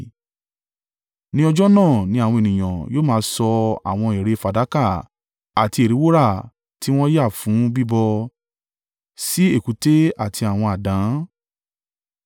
Ní ọjọ́ náà ni àwọn ènìyàn yóò máa sọ àwọn ère fàdákà àti ère wúrà tí wọ́n ti yá fún bíbọ sí èkúté àti àwọn àdán.